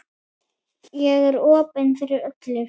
Ég er opin fyrir öllu.